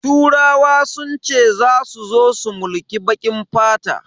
Turawa sun ce zasu zo su mulki bakin fata.